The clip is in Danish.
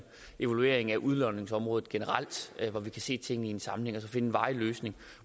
evalueringen af udlodningsområdet generelt hvor vi kan se tingene i en sammenhæng og så finde en varig løsning